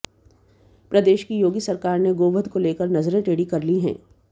प्रदेश की योगी सरकार ने गोवध को लेकर नजरें टेढ़ीं कर ली हैं